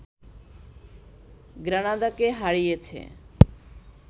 গ্রানাদাকে হারিয়েছে